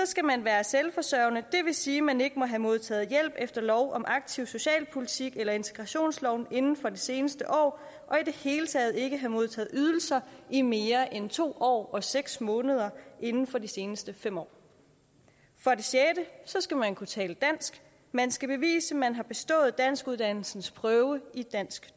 skal man være selvforsørgende det vil sige at man ikke må have modtaget hjælp efter lov om aktiv socialpolitik eller integrationsloven inden for det seneste år og i det hele taget ikke have modtaget ydelser i mere end to år og seks måneder inden for de seneste fem år for det sjette skal man kunne tale dansk man skal bevise man har bestået danskuddannelsens prøve i dansk